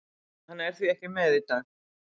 Hann er því ekki með í dag.